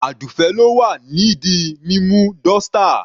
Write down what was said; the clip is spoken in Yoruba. Adufe ló wà ní di mímú dọ́ṣtà..